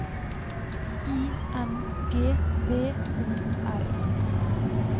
I N G V O R